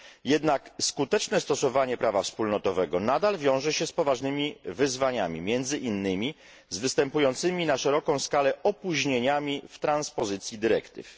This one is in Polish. Jednak skuteczne stosowanie prawa wspólnotowego nadal wiąże się z poważnymi wyzwaniami, między innymi z występującymi na szeroką skalę opóźnieniami w transpozycji dyrektyw.